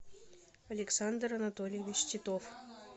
александр анатольевич титов